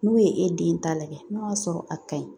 N'u ye e den ta lajɛ n'o y'a sɔrɔ a ka ɲi